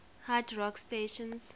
hard rock stations